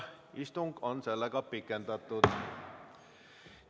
Istungit on pikendatud.